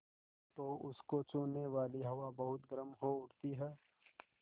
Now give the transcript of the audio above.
तो उसको छूने वाली हवा बहुत गर्म हो उठती है